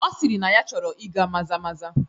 Ọ sịrị na ya chọrọ ịga maza maza